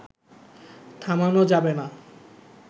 থামানো যাবে না